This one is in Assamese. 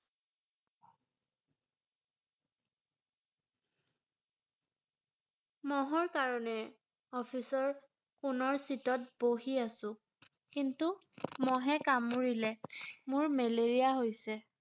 মহৰ কাৰণে ৷ office ৰ কোণৰ seat -ত বহি আছো ৷ কিন্তু মহে কামুৰিলে ৷ মোৰ মেলেৰিয়া হৈছে ৷